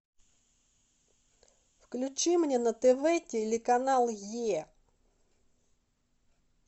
включи мне на тв телеканал е